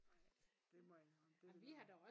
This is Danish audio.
Ej det må jeg indrømme det ville være